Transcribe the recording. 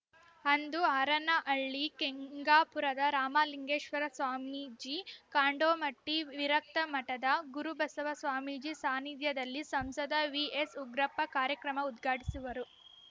ಅಂದು ಹರನಹಳ್ಳಿ ಕೆಂಗಾಪುರದ ರಾಮಲಿಂಗೇಶ್ವರ ಸ್ವಾಮೀಜಿ ಕಾಂಡೋಮಟ್ಟಿ ವಿರಕ್ತಮಠದ ಗುರುಬಸವ ಸ್ವಾಮೀಜಿ ಸಾನಿಧ್ಯದಲ್ಲಿ ಸಂಸದ ವಿಎಸ್‌ ಉಗ್ರಪ್ಪ ಕಾರ್ಯಕ್ರಮ ಉದ್ಘಾಟಿಸುವರು